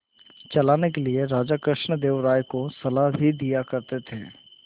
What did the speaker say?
चलाने के लिए राजा कृष्णदेव राय को सलाह भी दिया करते थे